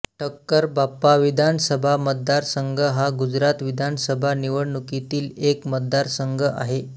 ठक्करबापा विधानसभा मतदारसंघ हा गुजरात विधानसभा निवडणुकीतील एक मतदारसंघ आहे